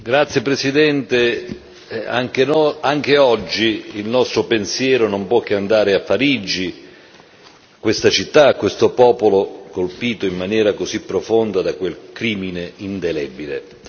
Signor Presidente, onorevoli colleghi, anche oggi il nostro pensiero non può che andare a Parigi, questa città, questo popolo colpito in maniera così profonda da quel crimine indelebile.